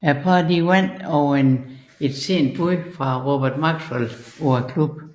Parret vandt over et sent bud fra Robert Maxwell på klubben